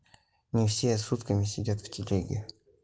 не все сутками сидят в телеге